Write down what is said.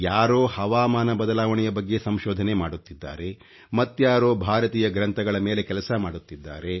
ಯಾರೋ ಹವಾಮಾನ ಬದಲಾವಣೆಯ ಬಗ್ಗೆ ಸಂಶೋಧನೆ ಮಾಡುತ್ತಿದ್ದಾರೆ ಮತ್ಯಾರೋ ಭಾರತೀಯ ಗ್ರಂಥಗಳ ಮೇಲೆ ಕೆಲಸಮಾಡುತ್ತಿದ್ದಾರೆ